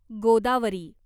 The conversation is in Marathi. गोदावरी